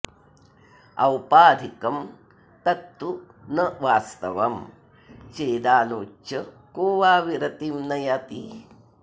औपाधिकं तत्तु न वास्तवं चेदालोच्य को वा विरतिं न याति